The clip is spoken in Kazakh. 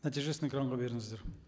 нәтижесін экранға беріңіздер